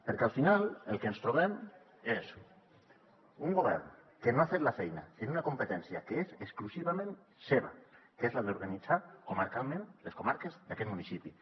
perquè al final el que ens trobem és un govern que no ha fet la feina en una competència que és exclusivament seva que és la d’organitzar comarcalment les comarques aquests municipis